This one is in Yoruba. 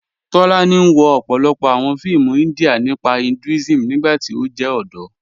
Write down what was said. Tólànì wọ̀ ọ̀pọ̀lọ́pọ̀ awọn fíìmù India nípa Hinduism nígbàtí ó jẹ́ ọdọ́.